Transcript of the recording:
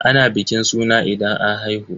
Ana bikin suna idan an haihu.